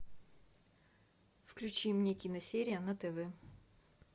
включи мне киносерия на тв